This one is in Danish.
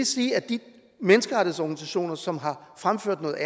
sige at de menneskerettighedsorganisationer som har fremført noget